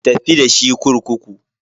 Ku tafi da shi kurkuku.